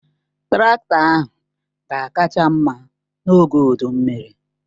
Traktọ ahụ ga-akacha mma n'oge udu mmiri.